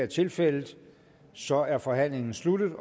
tilfældet og så er forhandlingen sluttet